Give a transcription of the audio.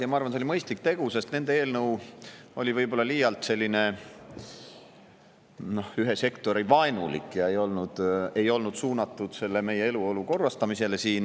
Ma arvan, et see oli mõistlik tegu, sest nende eelnõu on võib-olla liialt ühe sektori vaenulik ega ole suunatud meie eluolu korrastamisele.